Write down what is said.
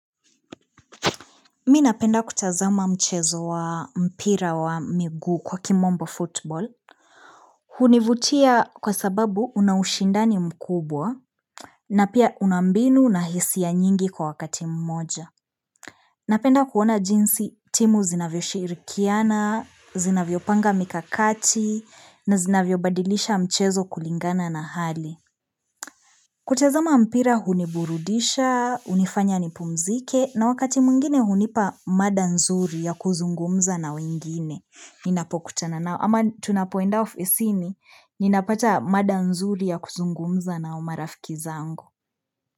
Mi napenda kutazama mchezo wa mpira wa miguu kwa kimombo football. Hunivutia kwa sababu una ushindani mkubwa na pia una mbinu na hisia nyingi kwa wakati mmoja. Napenda kuona jinsi timu zinavyoshirikiana, zinavyopanga mikakati na zinavyobadilisha mchezo kulingana na hali. Kutazama mpira huniburudisha, hunifanya nipumzike, na wakati mwingine hunipa mada nzuri ya kuzungumza na wengine. Ninapokutana nao, ama tunapoenda ofisini, ninapata mada nzuri ya kuzungumza na umarafiki zangu.